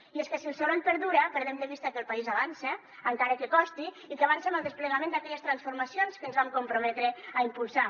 i és que si el soroll perdura perdem de vista que el país avança encara que costi i que avança en el desplegament d’aquelles transformacions que ens vam comprometre a impulsar